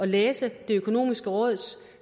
læse det økonomiske råds